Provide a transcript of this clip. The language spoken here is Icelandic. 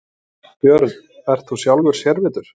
Björn: Ert þú sjálfur sérvitur?